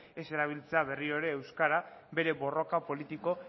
ez erabiltzea berriro ere euskara bere borroka politiko